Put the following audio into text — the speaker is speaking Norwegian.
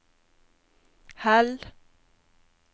Hell